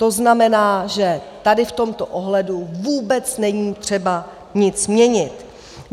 To znamená, že tady v tomto ohledu vůbec není třeba nic měnit.